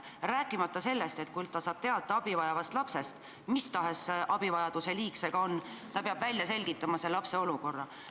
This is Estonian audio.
Rääkimata sellest, et kui ta saab teate abivajavast lapsest, mis tahes abivajaduse liik see ka on, siis peab ta välja selgitama selle lapse olukorra.